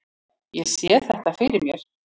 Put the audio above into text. Ég sé þetta fyrir mér.